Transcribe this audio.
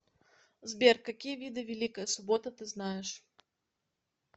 сбер какие виды великая суббота ты знаешь